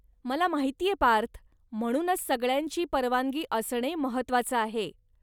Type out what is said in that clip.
मला माहितीये पार्थ, म्हणूनच सगळ्यांची परवानगी असणे महत्वाचं आहे.